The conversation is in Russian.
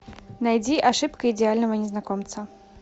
найди ошибка идеального незнакомца